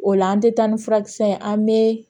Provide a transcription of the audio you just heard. O la an tɛ taa ni furakisɛ ye an bɛ